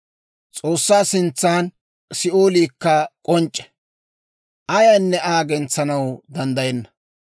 S'oossaa sintsan Si'ooliikka k'onc'c'e; ayaynne Aa gentsanaw danddayenna.